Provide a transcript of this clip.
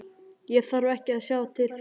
Ég þarf ekki að sjá þau til þess.